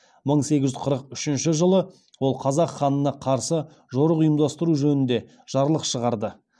мың сегіз жүз қырық үшінші жылы ол қазақ ханына қарсы жорық ұйымдастыру жөнінде жарлық шығарды